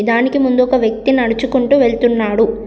దానికి ముందు ఒక వ్యక్తి నడుచుకుంటూ వెళ్తున్నాడు.